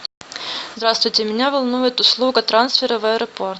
здравствуйте меня волнует услуга трансфера в аэропорт